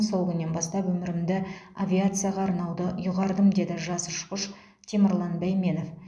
сол күннен бастап өмірімді авиацияға арнауды ұйғардым деді жас ұшқыш темірлан бәйменов